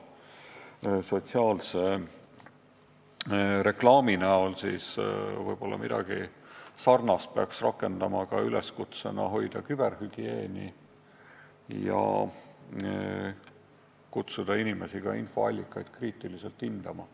Võib-olla midagi sarnast peaks rakendama digivaldkonnas: tuleks kutsuda inimesi üles hoidma küberhügieeni ja infoallikaid kriitiliselt hindama.